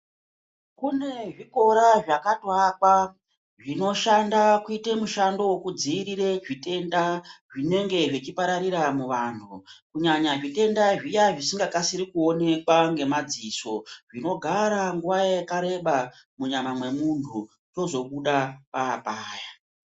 Kune zvikora zvakatoakwa zvinoshanda kuite mushando wekudziirire zvitenda zvinenge zvechipararira muanhu kunyanya zvitenda zviya zvisingakasiri kuonekwa ngemadziso zvinogara nguwa yakareba munyama mwemunhu chozobuda papaya.